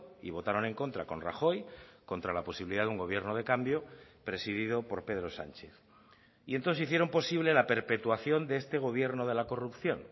y votaron en contra con rajoy contra la posibilidad de un gobierno de cambio presidido por pedro sánchez y entonces hicieron posible la perpetuación de este gobierno de la corrupción